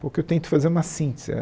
Porque eu tento fazer uma síntese.